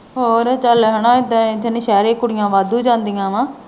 ਹੋਰ ਚੱਲ ਹਣਾ ਏਦਾਂ ਨੌਸ਼ਹਿਰੇ ਕੁੜੀਆਂ ਵਾਧੂ ਜਾਂਦੀਆਂ ਵਾ।